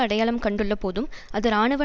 அடையாளம் கண்டுள்ளபோதும் அது இராணுவ